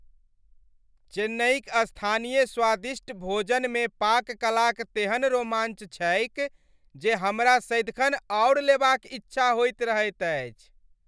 चेन्नईक स्थानीय स्वादिष्ट भोजनमे पाककलाक तेहन रोमांच छैक जे हमरा सदिखन आओर लेबाक इच्छा होइत रहैत अछि।